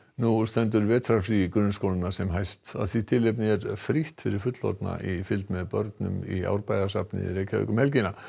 nú stendur vetrarfrí grunnskólanna sem hæst af því tilefni er frítt fyrir fullorðna í fylgd með börnum í Árbæjarsafnið um helgina